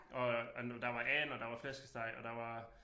Og og der var and og der var flæskesteg og der var